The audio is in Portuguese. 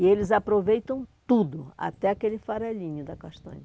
E eles aproveitam tudo, até aquele farelinho da castanha.